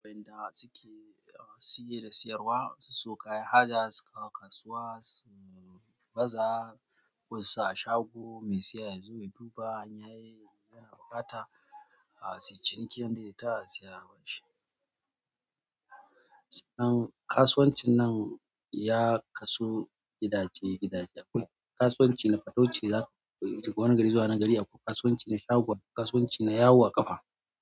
Wanda suke da siye da siyarwa, su sayo kayan haja su ka kasuwa, su baza, wasu a shago mai siya ya zo ya duba in yayi, ya rabata, su ciniki yadda ya tashi ya rabashi. Kasuwancin nan ya kasu gidaje-gidaje. Akwai kasuwanci na fatauci za ku shiga wani gari zuwa wani gari akwai kasuwanci na shagon, akwai kasuwanci na yawo a ƙafa.